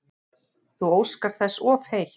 Þú óskar þess of heitt